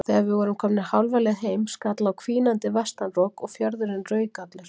Þegar við vorum komnir hálfa leið heim skall á hvínandi vestanrok og fjörðurinn rauk allur.